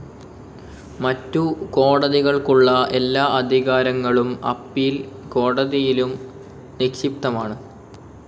മറ്റു കോടതികൾക്കുള്ള എല്ലാ അധികാരങ്ങളും അപ്പീൽ കോടതിയിലും നിക്ഷിപ്തമാണ്.